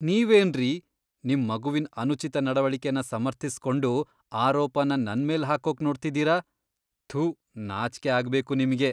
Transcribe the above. ನೀವೇನ್ರೀ ನಿಮ್ ಮಗುವಿನ್ ಅನುಚಿತ ನಡವಳಿಕೆನ ಸಮರ್ಥಿಸ್ಕೊಂಡು ಆರೋಪನ ನನ್ಮೇಲ್ ಹಾಕೋಕ್ ನೋಡ್ತಿದೀರ, ಥು.. ನಾಚ್ಕೆ ಅಗ್ಬೇಕು ನಿಮ್ಗೆ.